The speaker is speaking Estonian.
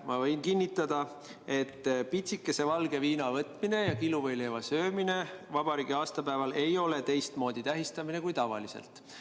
Ma võin kinnitada, et pitsikese valge viina võtmine ja kiluvõileiva söömine vabariigi aastapäeval ei ole teistmoodi tähistamine kui tavaliselt.